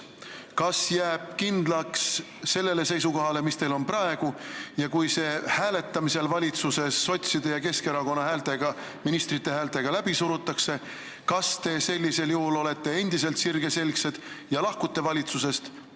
Kas te jääte kindlaks sellele seisukohale, mis teil on praegu, ja kui see avaldus hääletamisel valitsuses sotside ja Keskerakonna ministrite häältega läbi surutakse, kas te sellisel juhul olete endiselt sirgeselgsed ja lahkute valitsusest?